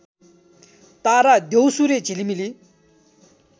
तारा द्यौसुरे झिलिमिली